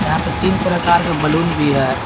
यहां पे तीन प्रकार का बैलून भी है।